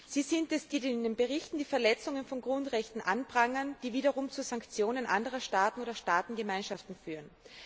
Sie sind es, die in den Berichten die Verletzung von Grundrechten anprangern, die wiederum zu Sanktionen anderer Staaten oder Staatengemeinschaften führen.